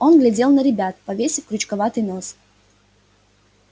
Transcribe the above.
он глядел на ребят повесив крючковатый нос